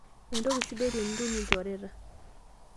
Entoki sidai tinitum lchoreta